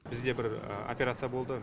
бізде бір операция болды